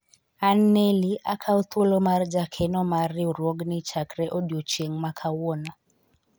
an Neli akawo thuolo mar jakeno mar riwruogni chakre odiochieng' ma kawuono